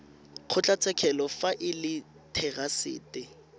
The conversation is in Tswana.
kgotlatshekelo fa e le therasete